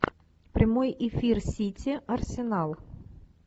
прямой эфир сити арсенал